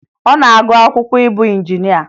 Ọ na-agụ akwụkwọ ịbụ injinịa